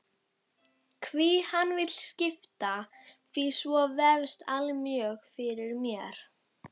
Hví hann vill skipa því svo vefst allmjög fyrir mér.